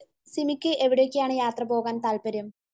സിമിക്ക് എവിടേക്കാണ് യാത്ര പോവാൻ താല്പര്യം?